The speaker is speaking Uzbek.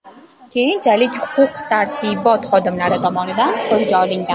Keyinchalik huquq-tartibot xodimlari tomonidan qo‘lga olingan.